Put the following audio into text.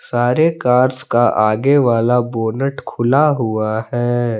सारे कार्स का आगे वाला बोनट खुला हुआ है।